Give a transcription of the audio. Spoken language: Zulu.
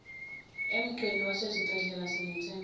emigqeni yasezibhedlela sithemba